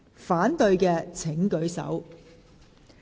反對的請舉手。